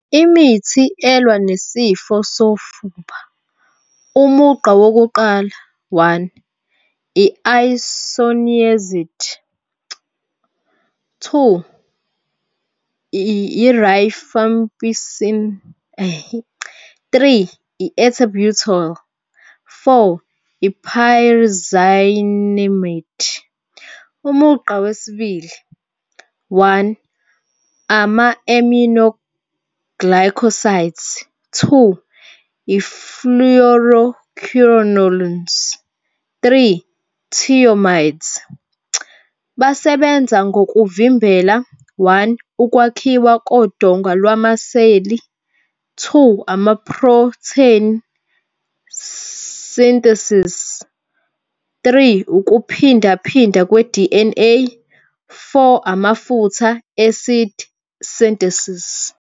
Imithi elwa nesifo sofuba umugqa wokuqala, one, i-Isoniazid. Two, i-Rifampicin. Three, i-Ethambutol. Four, i-Pyrazinamide. Umugqa wesibili, one, ama-Aminoglycosides. Two, . Three, Thioamides. Basebenza ngokuvimbela, one, ukwakhiwa kodonga lwama-cell-i. Two, ama-protein synthesis. Three, ukuphindaphinda kwe-D_N_A. Four, amafutha acid synthesis.